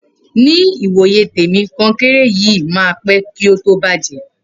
Ni wó yé tẹmi, kókẹńrẹ yìí mà pẹ ko to bàjẹ